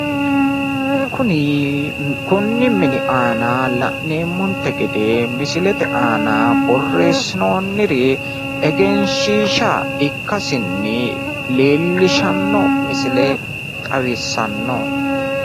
Kuni konni mini aana la'neemmonte gede misilete aana borreessinoonniri egenshiishsha ikkasinni leellishanno misile xawissanno.